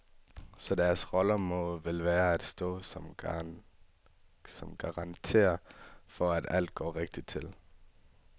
Så deres rolle må vel være at stå som garanter for, at alt går rigtigt til.